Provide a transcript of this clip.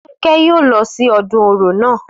Fúnkẹ́ yóò lọ sí ọdún Orò naa